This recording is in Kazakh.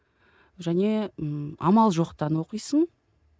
және ммм амал жоқтан оқисың